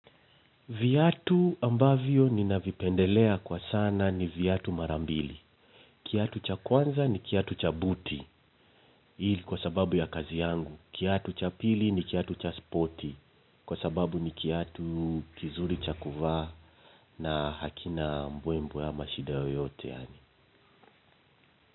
Viatu ambavyo ni navipendelea kwa sana ni vyatu marambili. Kiatu cha kwanza ni kiatu cha buti hii ni kwa sababu ya kazi yangu. Kiatu cha pili ni kiatu cha spoti kwa sababu ni kiatu kizuri cha kuvaa na hakina mbwe mbwe ama shida yoyote.